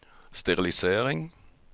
sterilisering